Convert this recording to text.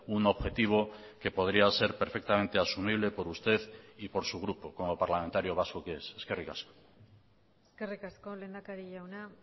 un objetivo que podría ser perfectamente asumible por usted y por su grupo como parlamentario vasco que es eskerrik asko eskerrik asko lehendakari jauna